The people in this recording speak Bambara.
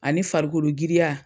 Ani farikolo giriya